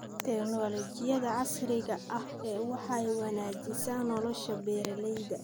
Tignoolajiyada casriga ahi waxay wanaajisaa nolosha beeralayda.